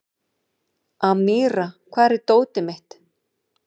Amíra, hvar er dótið mitt?